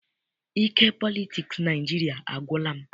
Ike politiks Naịjiria agwụla m.